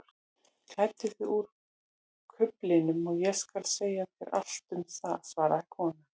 Klæddu þig úr kuflinum og ég skal segja þér allt um það svaraði konan.